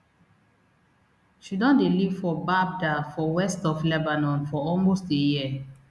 she don dey live for baabda for west of lebanon for almost a year